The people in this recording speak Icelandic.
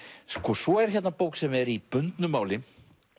svo er hérna bók sem er í bundnu máli